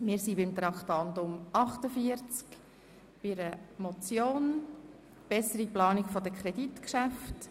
Wir sind bei Traktandum 48, bei der Motion für eine bessere Planung der Kreditgeschäfte.